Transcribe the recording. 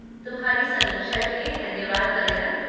तुम्हारी समीक्षा के लिए धन्यवाद कंगना।